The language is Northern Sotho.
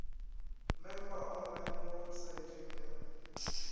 member online mo websaeteng ya